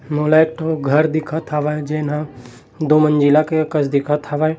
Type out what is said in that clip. मोला एक ठो घर दिखत हवे जेन हा दो मंजिला के कस दिखत हवे।